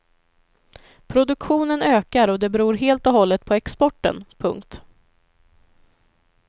Produktionen ökar och det beror helt och hållet på exporten. punkt